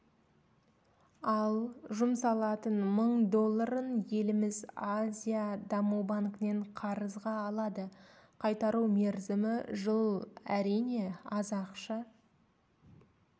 ал жұмсалатын мың долларын еліміз азия даму банкінен қарызға алады қайтару мерзімі жыл әрине аз ақша